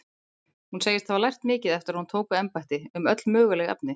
Hún segist hafa lært mikið eftir að hún tók við embætti, um öll möguleg efni.